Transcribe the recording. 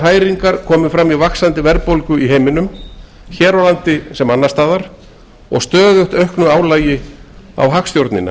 hræringar komi fram í vaxandi verðbólgu í heiminum hér á landi sem annars staðar og stöðugt auknu álagi á hagstjórnina